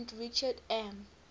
president richard m